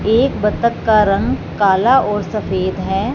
एक बत्तख का रंग काला और सफेद है।